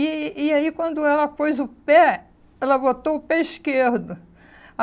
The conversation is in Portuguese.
E e aí, quando ela pôs o pé, ela botou o pé esquerdo.